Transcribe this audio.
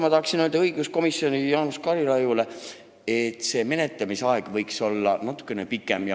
Ma tahan öelda Jaanus Karilaidile õiguskomisjonist, et menetlemisaeg võiks olla natukene pikem.